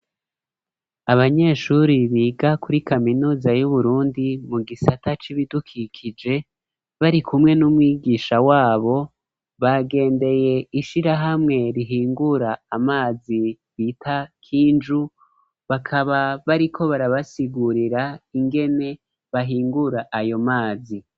abanyeshuri biga kuri kaminuza y'uburundi mu gisata c'ibidukikije, bari kumwe n'umwigisha wabo, bagendeye ishirahamwe rihingura amazi bita k'inju, bakaba bariko barabasigurira ingene bahingura ayo mazi.